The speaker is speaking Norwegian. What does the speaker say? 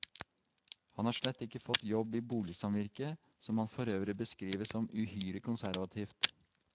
Han har slett ikke fått jobb i boligsamvirket, som han forøvrig beskriver som uhyre konservativt.